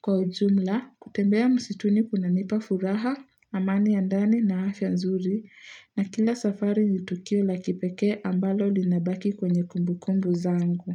Kwa ujumla, kutembea msituni kunanipa furaha, amani ya ndani na afya nzuri, na kila safari ni tukio la kipekee ambalo linabaki kwenye kumbukumbu zangu.